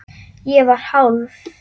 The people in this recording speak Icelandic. Ég var hálf